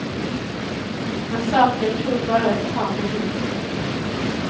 Massakern tog bara ett par minuter.